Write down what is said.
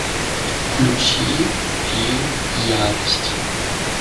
включи фильм ярость